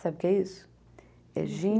Sabe o que é isso? É gin